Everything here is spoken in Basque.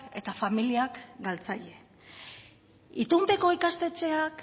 eta familiak galtzaile itunpeko ikastetxeak